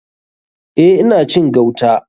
Eh ina cin gauta.